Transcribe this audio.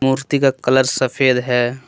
मूर्ति का कलर सफेद है।